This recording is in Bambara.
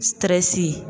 Tɛrɛsi